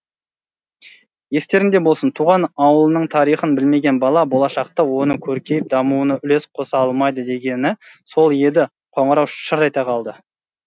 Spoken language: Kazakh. естеріңде болсын туған ауылының тарихын білмеген бала болашақта оның көркейіп дамуына үлес қоса алмайды дегені сол еді қоңырау шар ете қалды